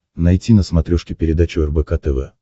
найти на смотрешке передачу рбк тв